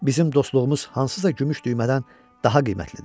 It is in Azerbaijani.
Bizim dostluğumuz hansısa gümüş düymədən daha qiymətlidir.